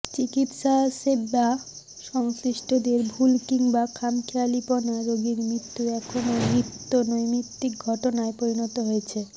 চিকিৎসাসেবা সংশ্লিষ্টদের ভুল কিংবা খামখেয়ালিপনা রোগীর মৃত্যু এখন নিত্য নৈমিত্তিক ঘটনায় পরিণত হয়েছে